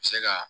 Se ka